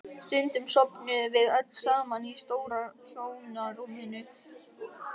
Stundum sofnuðum við öll saman í stóra hjónarúminu.